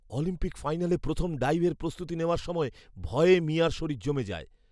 Olympic ফাইনালে প্রথম ডাইভের প্রস্তুতি নেওয়ার সময় ভয়ে মিয়া'র শরীর জমে যায়।